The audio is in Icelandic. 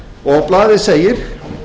og blaðið segir